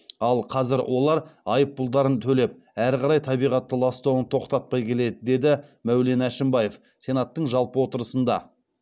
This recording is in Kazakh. ал қазір олар айыппұлдарын төлеп әрі қарай табиғатты ластауын тоқтатпай келеді деді мәулен әшімбаев сенаттың жалпы отырысында